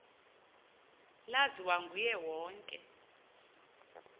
laziwa nguye wonke